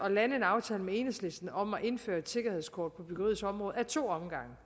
at lande en aftale med enhedslisten om at indføre et sikkerhedskort på byggeriets område ad to omgange